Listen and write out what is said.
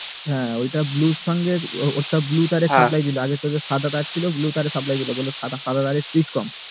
হুম এটা blue তার এর সঙ্গে ছিল আগে সাদা তার ছিল blue তার এ supply দিতো বললো সাদা তার এ